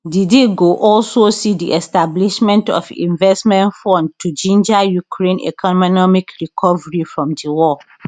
di deal go also see di establishment of investment fund to ginger ukraine economic recovery from di war